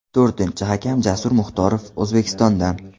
To‘rtinchi hakam Jasur Muxtorov – O‘zbekistondan.